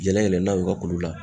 yɛlɛ yɛlɛ n'a ye u ka kulu la